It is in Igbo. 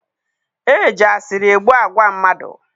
E ji asịrị egbu agwa mmadụ